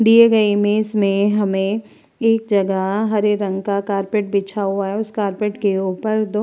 दिए गए इमेज में हमें एक जगह हरे रंग का कार्पेट बिछा हुआ है। उस कार्पेट के ऊपर दो --